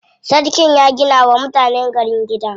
Sarkin ya gina wa mutanen gari gida.